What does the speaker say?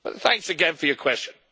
Thanks again for your question.